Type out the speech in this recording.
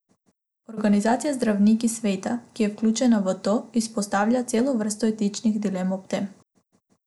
Organizacija Zdravniki sveta, ki je vključena v to, izpostavlja celo vrsto etičnih dilem ob tem.